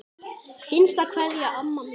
HINSTA KVEÐJA Amma mín.